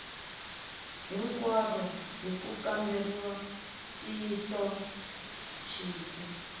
hinkwaro ku ya kamberiwa ntiyisoxidzi